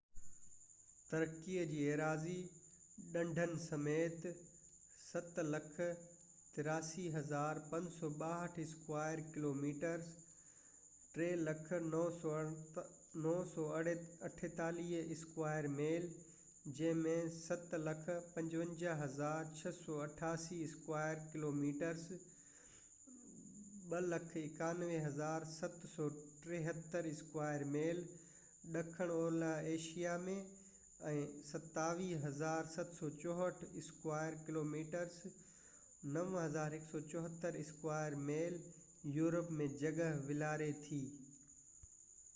ترقي جي ايراضي، ڍنڍن سميت، 783،562 اسڪوائر ڪلوميٽرس 300،948 اسڪوائر ميل، جنهن ۾ 755،688 اسڪوائر ڪلوميٽرس 291،773 اسڪوائر ميل ڏکڻ اولهہ ايشيا ۾۽ 23،764 اسڪوائر ڪلوميٽرس 9،174 اسڪوائر ميل يورپ ۾ جڳهہ والاري ٿي